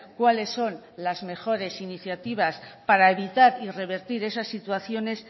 cuáles son las mejores iniciativas para evitar revertir esas situaciones